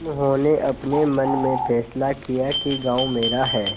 उन्होंने अपने मन में फैसला किया कि गॉँव मेरा है